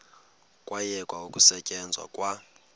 kwayekwa ukusetyenzwa kwa